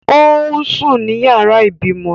Ó ń sùn ní yàrá ìbímọ